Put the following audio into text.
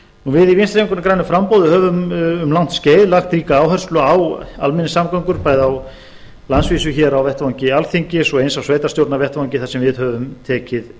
við í vinstri hreyfingunni grænu framboði höfum um langt skeið lagt ríka áherslu á almenningssamgöngum bæði á landsvísu á vettvangi alþingis og eins á sveitarstjórnarvettvangi þar sem við höfum tekið